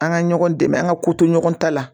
An ka ɲɔgɔn dɛmɛ an ka ko to ɲɔgɔn ta la